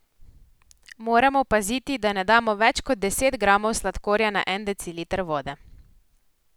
Moramo paziti, da ne damo več kot deset gramov sladkorja na en deciliter vode.